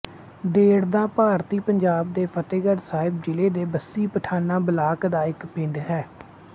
ਦੇਦੜਾਂ ਭਾਰਤੀ ਪੰਜਾਬ ਦੇ ਫ਼ਤਹਿਗੜ੍ਹ ਸਾਹਿਬ ਜ਼ਿਲ੍ਹੇ ਦੇ ਬੱਸੀ ਪਠਾਣਾਂ ਬਲਾਕ ਦਾ ਇੱਕ ਪਿੰਡ ਹੈ